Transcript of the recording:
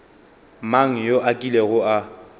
mang yo a kilego a